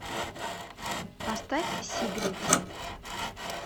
поставь сигрид